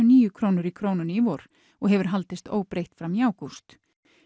níu krónur í Krónunni í vor og hefur haldist óbreytt fram í ágúst